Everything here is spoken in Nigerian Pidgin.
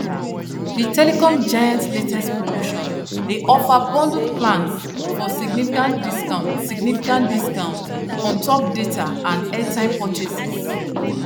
the telecom giants latest promotion dey offer bundled plans for significant discount significant discount untop data and airtime purchases